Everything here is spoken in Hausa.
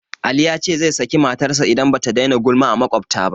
Ali ya ce zai saki matarsa idan ba ta daina gulma a maƙwabta ba